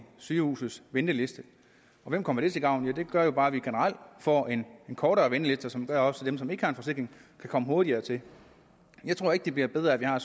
sygehuses venteliste og hvem kommer det til gavn det gør jo bare at vi generelt får en kortere venteliste som gør at også dem som ikke har en forsikring kan komme hurtigere til jeg tror ikke det bliver bedre af at vi har